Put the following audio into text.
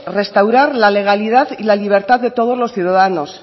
restaurar la legalidad y la libertad de todos los ciudadanos